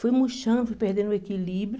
Fui murchando, fui perdendo o equilíbrio.